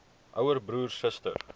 ouer broer suster